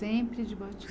Sempre de